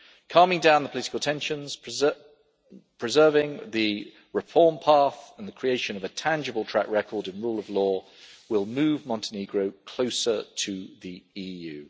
Calming down the political tensions, preserving the reform path and the creation of a tangible track record of rule of law will move Montenegro closer to the EU.